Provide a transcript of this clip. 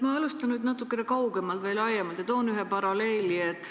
Ma alustan natuke kaugemalt või laiemalt ja toon ühe paralleeli.